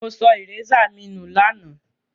Mo so eraser mi nu làná